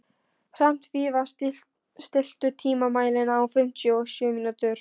Hrafnfífa, stilltu tímamælinn á fimmtíu og sjö mínútur.